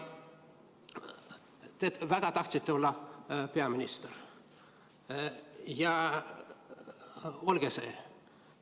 Te väga tahtsite olla peaminister, ja olge see.